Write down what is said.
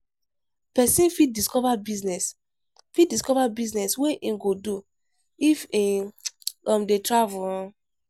Pesin fit discover business fit discover business wey im go do if e um dey travel. um